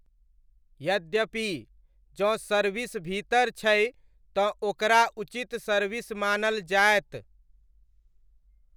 यद्यपि, जँ सर्विस भीतर छै तँ ओकरा उचित सर्विस मानल जायत।